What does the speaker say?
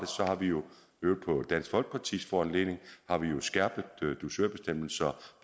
så har vi jo i øvrigt på dansk folkepartis foranledning skærpet dusørbestemmelsen